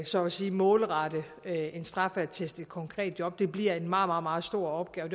så at sige målrette en straffeattest et konkret job det bliver en meget meget stor opgave